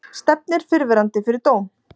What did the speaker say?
Stefnir fyrrverandi fyrir dóm